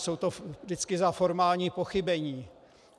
Je to vždycky za formální pochybení.